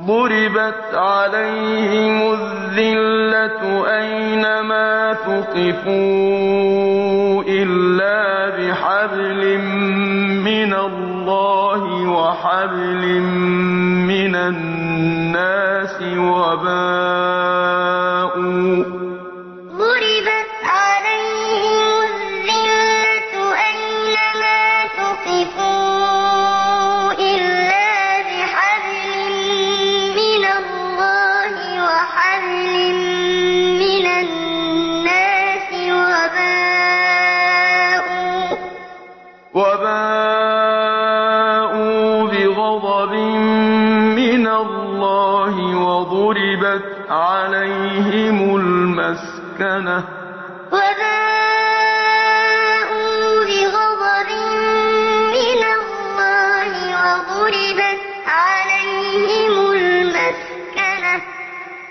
ضُرِبَتْ عَلَيْهِمُ الذِّلَّةُ أَيْنَ مَا ثُقِفُوا إِلَّا بِحَبْلٍ مِّنَ اللَّهِ وَحَبْلٍ مِّنَ النَّاسِ وَبَاءُوا بِغَضَبٍ مِّنَ اللَّهِ وَضُرِبَتْ عَلَيْهِمُ الْمَسْكَنَةُ ۚ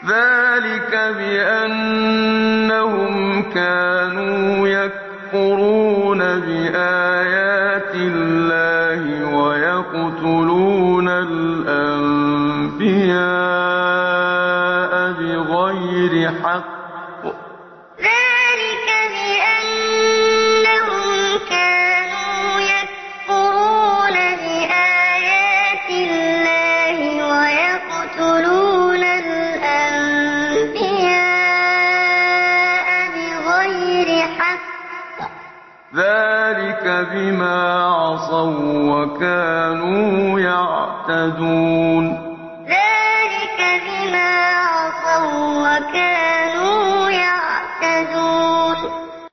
ذَٰلِكَ بِأَنَّهُمْ كَانُوا يَكْفُرُونَ بِآيَاتِ اللَّهِ وَيَقْتُلُونَ الْأَنبِيَاءَ بِغَيْرِ حَقٍّ ۚ ذَٰلِكَ بِمَا عَصَوا وَّكَانُوا يَعْتَدُونَ ضُرِبَتْ عَلَيْهِمُ الذِّلَّةُ أَيْنَ مَا ثُقِفُوا إِلَّا بِحَبْلٍ مِّنَ اللَّهِ وَحَبْلٍ مِّنَ النَّاسِ وَبَاءُوا بِغَضَبٍ مِّنَ اللَّهِ وَضُرِبَتْ عَلَيْهِمُ الْمَسْكَنَةُ ۚ ذَٰلِكَ بِأَنَّهُمْ كَانُوا يَكْفُرُونَ بِآيَاتِ اللَّهِ وَيَقْتُلُونَ الْأَنبِيَاءَ بِغَيْرِ حَقٍّ ۚ ذَٰلِكَ بِمَا عَصَوا وَّكَانُوا يَعْتَدُونَ